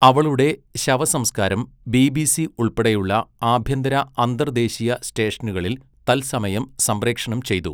അവളുടെ ശവസംസ്കാരം ബിബിസി ഉൾപ്പെടെയുള്ള ആഭ്യന്തര, അന്തർദേശീയ സ്റ്റേഷനുകളിൽ തത്സമയം സംപ്രേഷണം ചെയ്തു.